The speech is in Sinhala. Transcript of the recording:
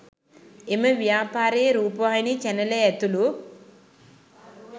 එම ව්‍යාපාරයේ රූපවාහිනී චැනලය ඇතුළු